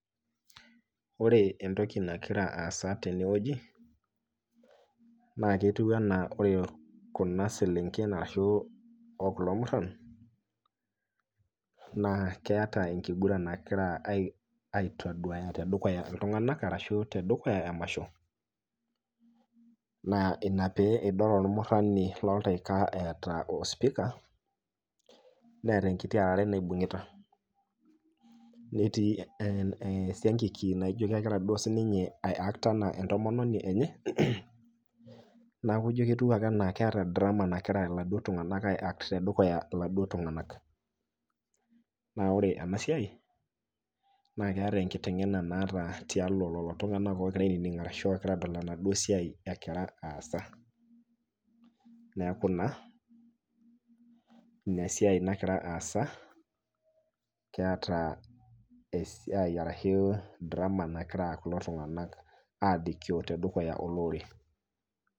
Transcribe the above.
Ore entoki nagira aasa tenewueji naaketiu anaa ore kuna selenken arashuu o kulo murran, naa keata enkingurran nagira [ai] aitaduaya tedukuya iltung'anak ashu tedukuya emasho, naa ina pee idol olmurrani lolteika eeta ospika neeta enkiti ararai naibung'ita. Netii [ehn] esiangiki naijo kegira duo sininye aiakt anaa entomononi enye naaku ijo ketiu ake anaa keeta  drama nagira iladuo tung'anak ai act tedukuya iladuo tung'anak. Naa ore enasiai naaketa enkiteng'ena naata tialo lolo tung'anak ogira ainining' arashu adol enaduo siai egira aasa. Neaku naa inasiai nagira aasa keata esiai arashuu drama nagira kulo tung'anak aalikio tedukuya olorere.